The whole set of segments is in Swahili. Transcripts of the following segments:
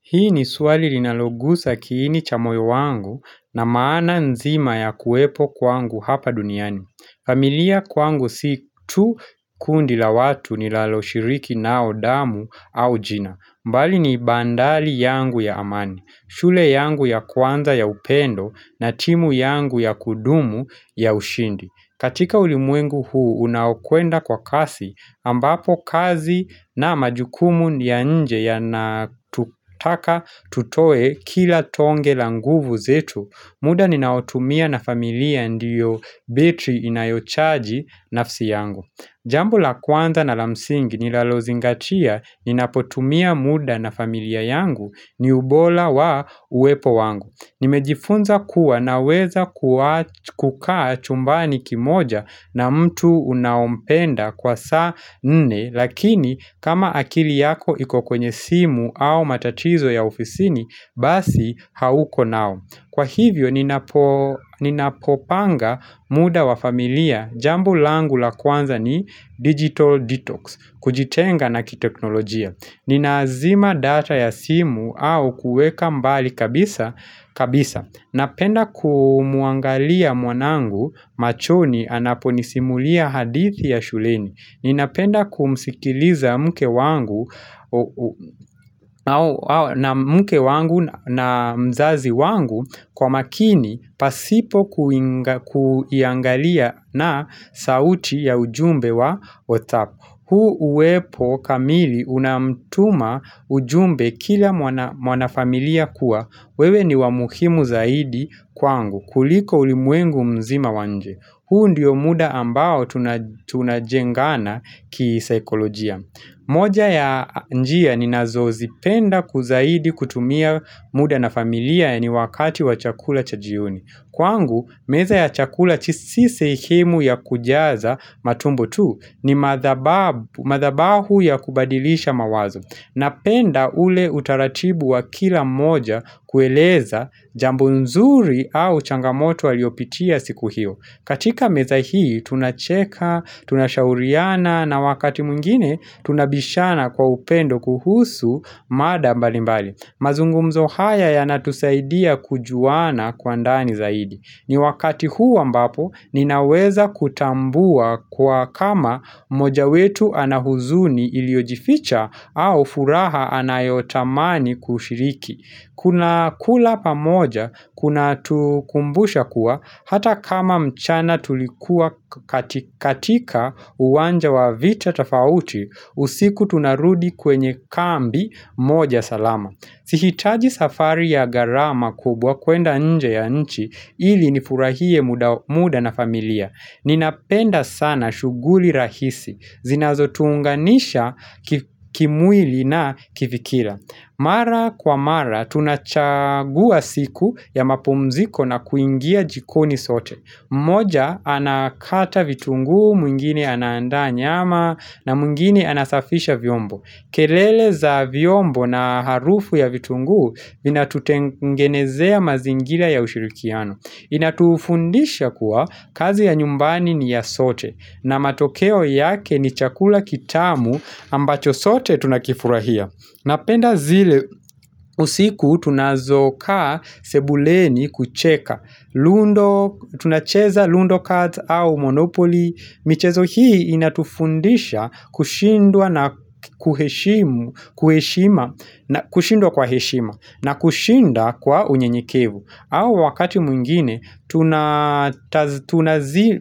Hii ni swali linalogusa kiini cha moyo wangu na maana nzima ya kuwepo kwangu hapa duniani. Familia kwangu si tu kundi la watu nilaloshiriki nao damu au jina. Mbali ni bandali yangu ya amani, shule yangu ya kwanza ya upendo na timu yangu ya kudumu ya ushindi. Katika ulimwengu huu unaokwenda kwa kasi ambapo kazi na majukumu ya nje yanatutaka tutoe kila tonge la nguvu zetu muda ninaotumia na familia ndiyo betri inayochaji nafsi yangu. Jambu la kwanza na la msingi nilalozingatia ninapotumia muda na familia yangu ni ubora wa uwepo wangu. Nimejifunza kuwa naweza kukaa chumbani kimoja na mtu unaompenda kwa saa nne lakini kama akili yako iko kwenye simu au matatizo ya ofisini basi hauko nao. Kwa hivyo, ninapopanga muda wa familia, jambo langu la kwanza ni digital detox, kujitenga na kiteknolojia Ninazima data ya simu au kueka mbali kabisa Napenda kumuangalia mwanangu machoni anapo nisimulia hadithi ya shuleni Ninapenda kumsikiliza mke wangu na mzazi wangu kwa makini pasipo kuangalia na sauti ya ujumbe wa WhatsApp huu uwepo kamili unamtuma ujumbe kila mwana familia kuwa. Wewe ni wa muhimu zaidi kwangu kuliko ulimwengu mzima wa nje. Huu ndiyo muda ambao tunajengana kisaikolojia. Moja ya njia ninazo zipenda kuzahidi kutumia muda na familia ya ni wakati wa chakula cha jioni. Kwangu, meza ya chakula si sehemu ya kujaza matumbo tu ni madhabahu ya kubadilisha mawazo. Napenda ule utaratibu wa kila moja kueleza jambo nzuri au changamoto waliopitia siku hio. Katika meza hii tunacheka, tunashauriana na wakati mwingine tunabishana kwa upendo kuhusu mada mbali mbali. Mazungumzo haya yanatusaidia kujuana kwa ndani zaidi. Ni wakati huwa ambapo ninaweza kutambua kwa kama moja wetu ana huzuni iliojificha au furaha anayotamani kushiriki. Kuna kula pamoja, kuna tukumbusha kuwa, hata kama mchana tulikuwa katika uwanja wa vita tofauti, usiku tunarudi kwenye kambi moja salama. Sihitaji safari ya ggarama kubwa kuenda nje ya nchi ili nifurahie muda na familia. Ninapenda sana shughuli rahisi, zinazo tuunganisha kimwili na kifikila. Mara kwa mara, tunachagua siku ya mapumziko na kuingia jikoni sote. Moja, anakata vitungu, mwingine anaanda nyama, na mwingine anasafisha vyombo. Kelele za vyombo na harufu ya vitungu, vinatutengenezea mazingira ya ushirikiano. Inatufundisha kuwa, kazi ya nyumbani ni ya sote, na matokeo yake ni chakula kitamu ambacho sote tunakifurahia. Napenda zile usiku tunazokaa sebuleni kucheka. Tunacheza Lundo Cards au Monopoly. Michezo hii inatufundisha kushindwa na kushindwa kwa heshima na kushinda kwa unyenyekevu. Au wakati mwingine,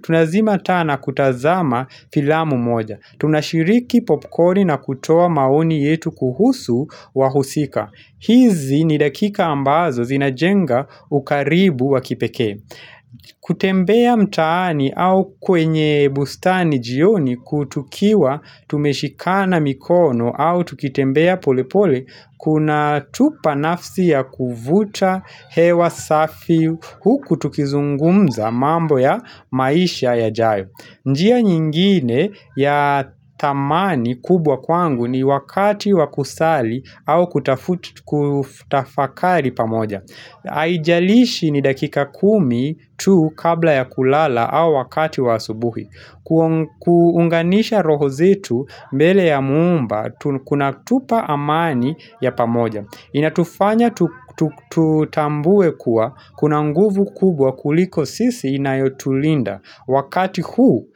tunazima taa na kutazama filamu moja. Tunashiriki popcorni na kutoa maoni yetu kuhusu wahusika. Hizi ni dakika ambazo zinajenga ukaribu wa kipeke. Kutembea mtaani au kwenye bustani jioni kutukiwa tumeshikana mikono au tukitembea pole pole, Kuna tupa nafsi ya kuvuta, hewa safi, huku tukizungumza mambo ya maisha yajayo njia nyingine ya dhamani kubwa kwangu ni wakati wa kusali au kutafakari pamoja Aijalishi ni dakika kumi tu kabla ya kulala au wakati wa asubuhi kuunganisha roho zetu mbele ya muumba kuna tupa amani ya pamoja Inatufanya tutambue kuwa kuna nguvu kubwa kuliko sisi inayotulinda wakati huu.